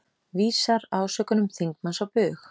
Vísar ásökunum þingmanns á bug